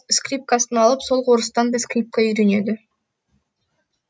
скрипкасын алып сол орыстан да скрипка үйренеді